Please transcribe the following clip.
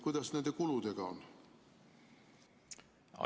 Kuidas nende kuludega on?